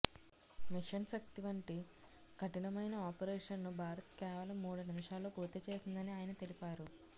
machine Shakti వంటి కఠినమైన ఆపరేషన్ను భారత్ కేవలం మూడు నిమిషాల్లో పూర్తి చేసిందని ఆయన తెలిపారు